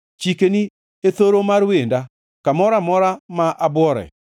Chikeni e thoro mar wenda, kamoro amora ma abwore.